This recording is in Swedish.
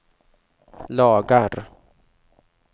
lagar